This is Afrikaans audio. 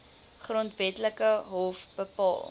grondwetlike hof bepaal